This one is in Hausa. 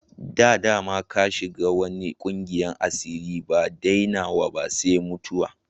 Da dama ka shiga wanan ƙungiyan asiri, ba dainawa sai mutuwa.